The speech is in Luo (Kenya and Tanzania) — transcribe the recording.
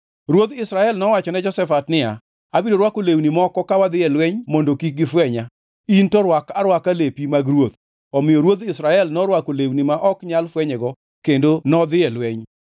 Ruodh Israel nowachone Jehoshafat niya, “Abiro rwako lewni moko ka wadhi e lweny mondo kik gifwenya, in to rwak arwaka lepi mag ruoth.” Omiyo ruodh Israel norwako lewni ma ok nyal fwenyego kendo nodhi e lweny.